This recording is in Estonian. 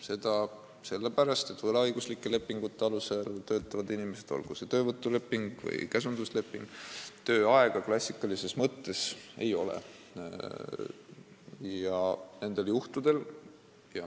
Seda sellepärast, et võlaõiguslike lepingute alusel töötavatel inimestel, olgu see leping siis töövõtuleping või käsundusleping, tööaega klassikalises mõttes ei ole.